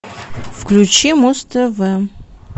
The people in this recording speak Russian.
включи муз тв